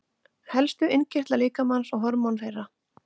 Helstu innkirtlar líkamans og hormón þeirra.